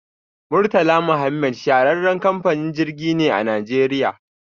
Murtala Muhammad shahararren kamfanin jirgi ne a najeriya.